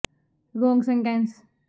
ਤੁਹਾਨੂੰ ਇੱਕ ਬੱਕਰੀ ਜ ਗਊ ਨੂੰ ਵਰਤ ਸਕਦੇ ਹੋ